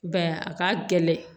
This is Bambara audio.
I b'a ye a ka gɛlɛn